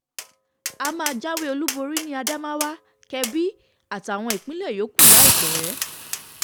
a máa jáwé olúborí ní adamawa kebí àtàwọn ìpínlẹ̀ yòókù láìpẹ́